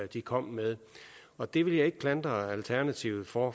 de kom med og det vil jeg ikke klandre alternativet for